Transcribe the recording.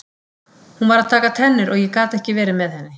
Hún var að taka tennur og ég gat ekki verið með henni.